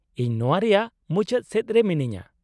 ᱤᱧ ᱱᱚᱶᱟ ᱨᱮᱭᱟᱜ ᱢᱩᱪᱟᱹᱫ ᱥᱮᱫ ᱨᱮ ᱢᱤᱱᱟᱹᱧᱟᱹ ᱾